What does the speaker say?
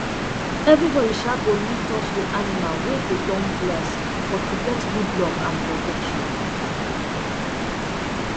everybody um go need touch the animal wey dey don bless for to get good luck and protection